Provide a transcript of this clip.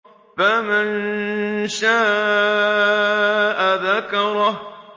فَمَن شَاءَ ذَكَرَهُ